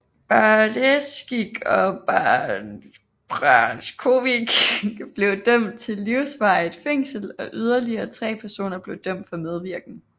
Baresic og Brajkovic blev dømt til livsvarigt fængsel og yderligere tre personer blev dømt for medvirken